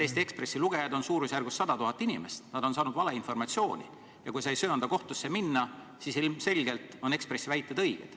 Eesti Ekspressi lugejaid on suurusjärgus 100 000 inimest, nad on saanud valeinformatsiooni ja kui sa ei söanda kohtusse minna, siis ilmselgelt on Ekspressi väited õiged.